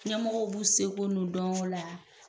Ɲɛmɔgɔw b'u seko n'u dɔŋo la